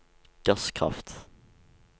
gasskraft